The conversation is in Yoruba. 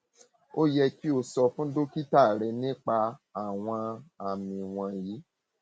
ó yẹ kí o sọ fún dókítà rẹ nípa um àwọn um àmì wọnyí